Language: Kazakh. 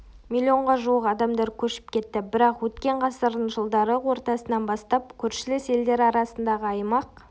миллионға жуық адамдар көшіп кетті бірақ өткен ғасырдың жылдары ортасынан бастап көршілес елдер арасындағы аймақ